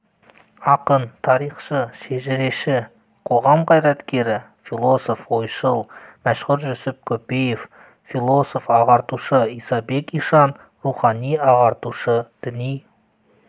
ақын тарихшы-шежіреші қоғам қайраткері философ ойшыл мәшһүр жүсіп көпеев философ-ағартушы исабек ишан рухани ағартушы діни